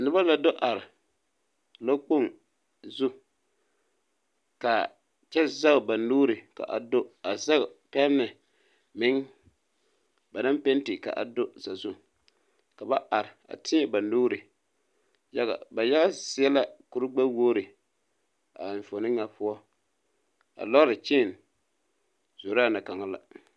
Noba la do are lɔkpoŋ zu ka a kyɛ zage ba nuuri ka a do a zage ba pɛmɛ meŋ ba naŋ penti ka a do sazu ka ba are a teɛ ba nuuri yaga ba yaga zie seɛ la kuregbɛwogri a enfuone ŋa poɔa lɔɔre chain zoraa na kaŋa la.